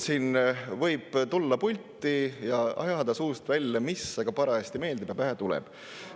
Siin võib tulla pulti ja ajada suust välja, mis aga parajasti meeldib ja pähe tuleb.